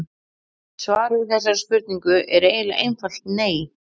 Svarið við þessari spurningu er eiginlega einfalt nei.